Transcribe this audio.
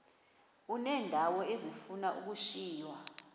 uneendawo ezifuna ukushiywa